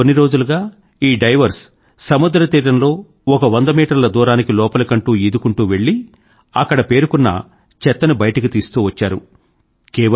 గత కొన్ని రోజులుగా ఈ డైవర్స్ సముద్ర తీరంలో ఒక వంద మీటర్ల దూరానికి లోపలికంటా ఈదుకుంటూ వెళ్ళి అక్కడ పేరుకున్న చెత్తని బయటకు తీస్తూ వచ్చారు